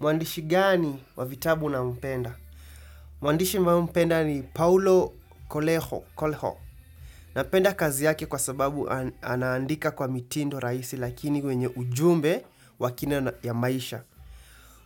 Mwandishi gani wavitabu unaompenda? Mwandishi mimi humpenda ni Paolo Coleho. Napenda kazi yake kwa sababu anaandika kwa mitindo raisi lakini wenye ujumbe wakina ya maisha.